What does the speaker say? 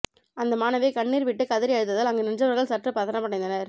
அந்த மாணவி கண்ணீர் விட்டு கதறி அழுததால் அங்கு நின்றவர்கள் சற்று பதற்றமடைந்தனர்